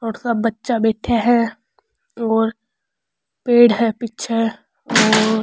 और सब बच्चा बैठा है र और पेड़ है पीछे और --